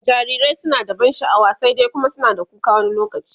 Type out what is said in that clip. jarirai suna da ban sha'wa, sai dai Kuma suna da kuka wani lokaci